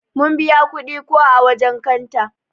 Mun biya kudi ko ã wajen kanta.